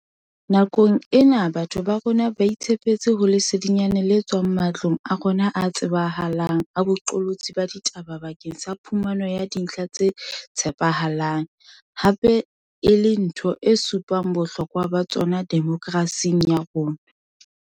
Nakong ena batho ba rona ba itshepetse ho lesedinyana le tswang ma tlong a rona a tsebahalang a boqolotsi ba ditaba bakeng sa phumano ya dintlha tse tshepahalang, hape e le ntho e supang bohlokwa ba tsona demokrasi ya rona.